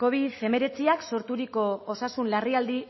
covid hemeretziak sorturiko osasun larrialdi